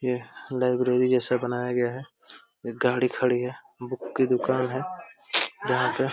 यह लाइब्रेरी जैसा बनाया गया है। एक गाड़ी खडी है। बुक की दुकान है यहाँ पे ।